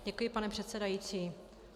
Děkuji, pane předsedající.